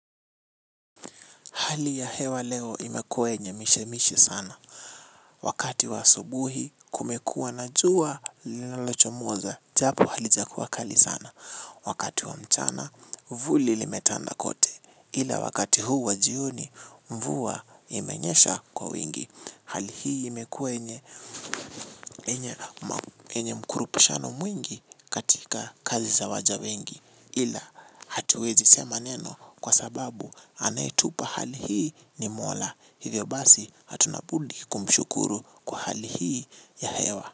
Hali ya hewa leo imekuwe yenye mishemishe sana. Wakati wa asubuhi kumekuwa na jua linalo chomoza. Japo halijakuwa kali sana. Wakati wa mchana, vuli limetanda kote. Ila wakati huu wa jioni, mvua imenyesha kwa wingi. Hali hii imekuwe yenye mkurupishano mwingi katika kazi za waja wengi. Ila hatuwezi sema neno kwa sababu anaitupa hali hii ni mola. Hivyo basi hatuna budi kumshukuru kwa hali hii ya hewa.